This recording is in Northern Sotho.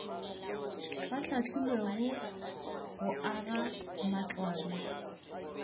ba hlahlilwego go aga matlwana